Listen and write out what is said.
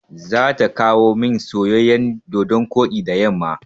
Za ta kawomin soyayyan dodon koɗi da yamma.